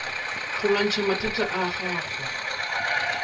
go lwantšha mathata a gago